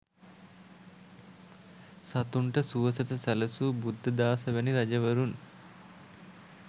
සතුන්ට සුවසෙත සැලසූ බුද්ධදාස වැනි රජවරුන්